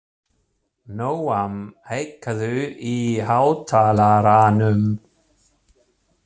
Nóam, hækkaðu í hátalaranum.